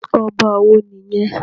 Ọba wo nìyẹn?